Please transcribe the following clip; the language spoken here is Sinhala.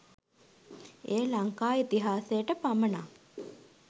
එය ලංකා ඉතිහාසයට පමණක්